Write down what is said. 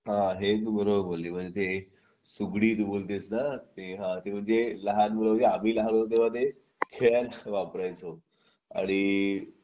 हा आहे तू बरोबर बोलली म्हणजे ते सुगडी तू बोलतेस ना ते हा ते म्हणजे लहान मुलं आम्ही लहान होतो तेव्हा ते खेळायला वापरायचं आणि